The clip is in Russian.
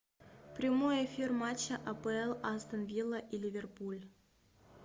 прямой эфир матча апл астон вилла и ливерпуль